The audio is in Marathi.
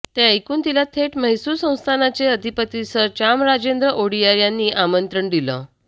ते ऐकून तिला थेट म्हैसूर संस्थानाचे अधिपती सर चामराजेंद्र ओडियार यांनी आमंत्रण दिलं